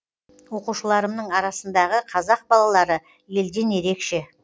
оқушыларымның арасындағы қазақ балалары елден ерекше